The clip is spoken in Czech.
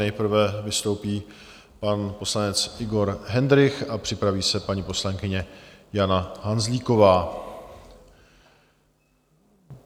Nejprve vystoupí pan poslanec Igor Hendrych a připraví se paní poslankyně Jana Hanzlíková.